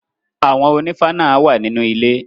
Àwọn ònífá náà wà nínú ilé.